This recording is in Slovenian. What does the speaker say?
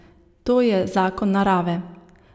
To je zakon narave.